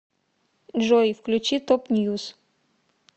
джой включи топ ньюз